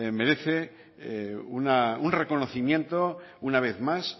merece un reconocimiento una vez más